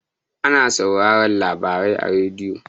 Ana sauraran labarai a radiyo.